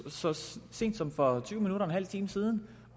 så sent som for en halv times tid